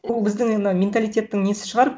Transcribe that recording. ол біздің енді менталитеттің несі шығар